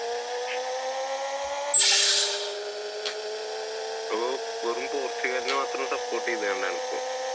വെറും പോർച്ചുഗലിന് മാത്രം support ചെയ്യുന്ന ഇപ്പൊ?